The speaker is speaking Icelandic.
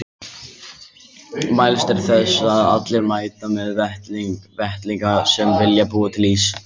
Mælst er til þess að allir mæti með vettlinga sem vilja búa til ís.